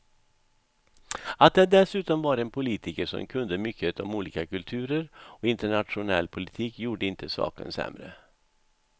Att det dessutom var en politiker som kunde mycket om olika kulturer och internationell politik gjorde inte saken sämre.